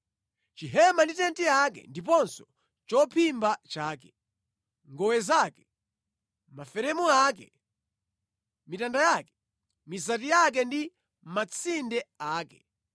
Chihema ndi tenti yake ndiponso chophimba chake, ngowe zake, maferemu ake, mitanda yake, mizati yake ndi matsinde ake;